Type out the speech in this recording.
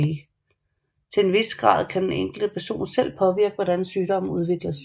Til en vis grad kan den enkelte person selv påvirke hvordan sygdommen udvikles